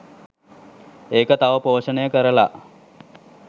ඒක තව පෝෂණය කරලා